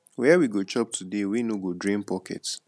where we go chop today wey no go drain pocket